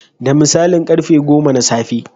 Da misalin karfe goma na safe.